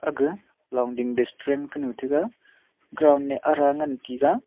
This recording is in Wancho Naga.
akga longding district distrem kanu taiga cround e ara ngan taiga.